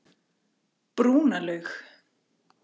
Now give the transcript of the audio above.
Brúnalaug